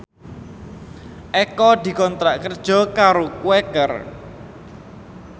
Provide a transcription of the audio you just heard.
Eko dikontrak kerja karo Quaker